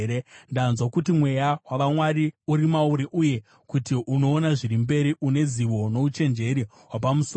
Ndanzwa kuti mweya wavamwari uri mauri uye kuti unoona zviri mberi, une zivo nouchenjeri hwapamusoro.